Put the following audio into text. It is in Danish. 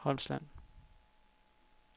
Holmsland